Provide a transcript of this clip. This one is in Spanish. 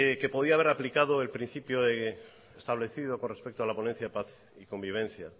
que podría haber aplicado el principio establecido con respecto a la ponencia de paz y convivencia